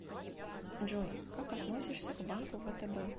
джой как относишься к банку втб